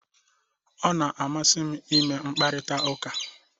Ọ na-amasị m ịme mkparịta ụka